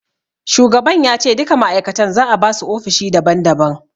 Shugaban ya ce duka ma'aikatan za'a basu ofishi daban daban.